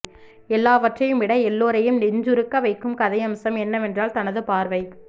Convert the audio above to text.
எல்லாவற்றையும் விட எல்லோரையும் நெஞ்சுறுக்க வைக்கும் கதையம்சம் என்னவென்றால் தனது பார்வை